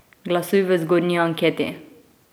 Glasuj v zgornji anketi!